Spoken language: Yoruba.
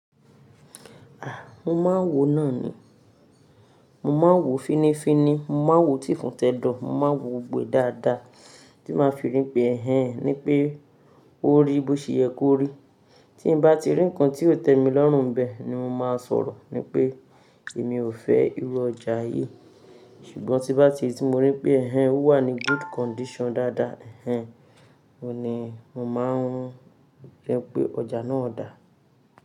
À, mo máa ń wò náà ni. Mo máa ń wò fínnífínní, mo máa ń wò tí ìfun tẹ́dọ̀, mo máa ń wò gbó dáadáa tí màá fi rí pé "ẹhẹ́n" ní pé ó rí bó ṣe yẹ kó rí. Tí n bá ti rí ǹkan tí ó tẹ mi lọ́rùn nbẹ̀ ni mo máa sọ̀rọ̀ ni pé èmi ò fẹ́ irú ọjà yìí. Ṣùgbọ́n tí bá ti rí tí mo rí pé "ẹhẹ́n" ó wà ní good condition dáadáa, "ẹhẹ́n" ó ni mo máa ń fẹ́ pé ọjà náà dà.